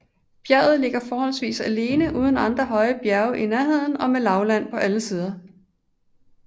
Bjerget ligger forholdsvis alene uden andre højre bjerge i nærheden og med lavland på alle sider